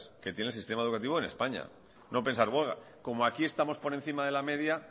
que tiene el sistema educativo en españa no pensar como aquí estamos por encima de la media